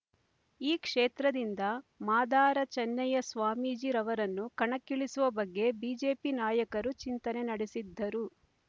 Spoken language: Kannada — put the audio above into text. ಈ ಕ್ಷೇತ್ರದಿಂದ ಮಾದಾರ ಚನ್ನಯ್ಯ ಸ್ವಾಮೀಜಿ ರವರನ್ನುಕಣಕ್ಕಿಳಿಸುವ ಬಗ್ಗೆ ಬಿಜೆಪಿ ನಾಯಕರು ಚಿಂತನೆ ನಡೆಸಿದ್ದರು